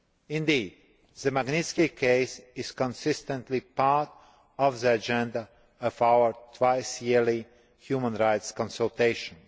Indeed, the Magnitsky case is consistently part of the agenda for our twice yearly human rights consultations.